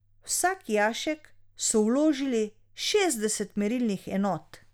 V vsak jašek so vložili šestdeset merilnih enot.